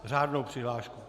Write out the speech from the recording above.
Řádnou přihlášku.